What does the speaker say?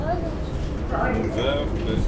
Öll hennar ævi var þarna til sýnis.